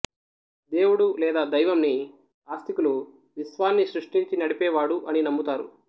దేవుడు లేదా దైవం ని ఆస్తికులు విశ్వాన్ని సృష్టించి నడిపేవాడు అని నమ్ముతారు